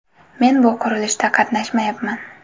Men bu qurilishda qatnashmayapman.